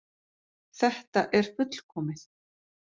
Þetta er fullkomið!